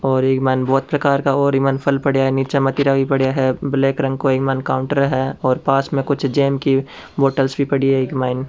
और इक मायन बहुत प्रकार का और इ मायन फल पड़िया है नीचे मतीरा भी पड़िया है ब्लैक रंग को इक मायन काउंटर है और पास में कुछ जेम की बोतल सी पड़ी है इक मायन।